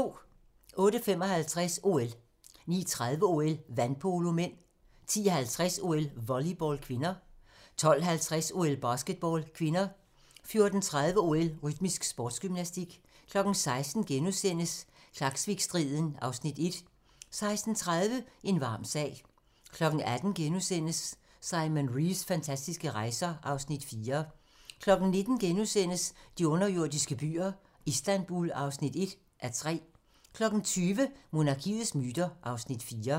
08:55: OL 09:30: OL: Vandpolo (m) 10:50: OL: Volleyball (k) 12:50: OL: Basketball (k) 14:30: OL: Rytmisk sportsgymnastik 16:00: Klaksvikstriden (Afs. 1)* 16:30: En varm sag 18:00: Simon Reeves fantastiske rejser (Afs. 4)* 19:00: De underjordiske byer - Istanbul (1:3)* 20:00: Monarkiets myter (Afs. 4)